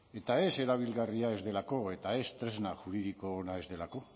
eta ez erabilgarria ez delako eta ez tresna juridiko ona ez delako